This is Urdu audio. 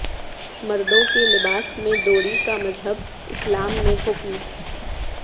مردوں کے لباس میں ڈوری کا مذہب اسلام میں حکم